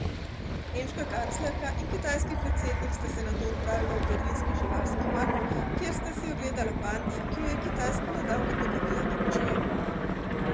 Nemška kanclerka in kitajski predsednik sta se nato odpravila v berlinski živalski vrt, kjer sta si ogledala pandi, ki ju je Kitajska nedavno podarila Nemčiji.